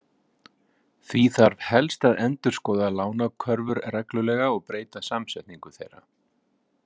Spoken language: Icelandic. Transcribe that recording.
Því þarf helst að endurskoða lánakörfur reglulega og breyta samsetningu þeirra.